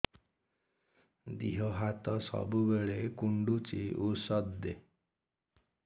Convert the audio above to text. ଦିହ ହାତ ସବୁବେଳେ କୁଣ୍ଡୁଚି ଉଷ୍ଧ ଦେ